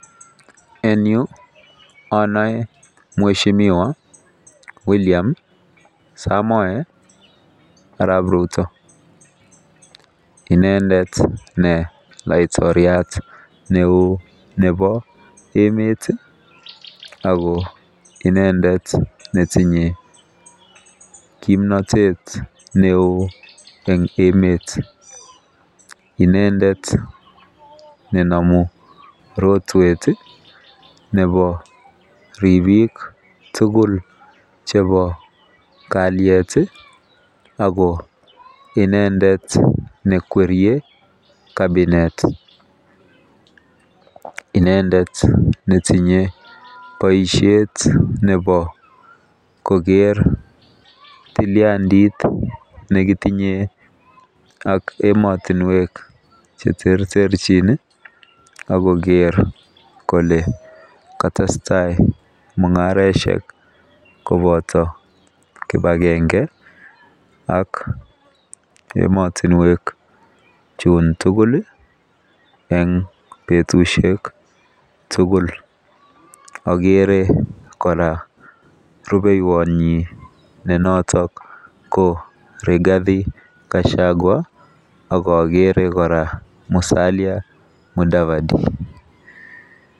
En yu anoe mweshimiwa William Samoei Arap Ruto. Inendet ne laitoriat neo nepo emet ako inendet netinye kimnotet neo eng emet. Inendet nenome rotwet nepo ripik tugul chepo kalyet ako inendet nekwerie cabinet. Inendet netinye boishet nepo koker tiliandit nekitinye ak emotinwek cheterterchin akoker kole katestai mung'areshek kopoto kipakenge ak emotinwek chun tugul eng betushek tugul. Akere kora rubeiwonyi ne noto ko Rigathi Gachagua akakere kora Musalia Mudavadi.